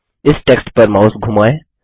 इस टेक्स्ट पर माउस धुमाएँ